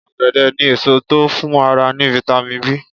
Ọ̀gẹ̀dẹ̀ ni èso tó ń fún ara ní "vitamIn B".